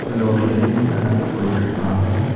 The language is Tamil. அதுல ஒரு லேடி நடந்து போயிட்டு இருக்காங்க.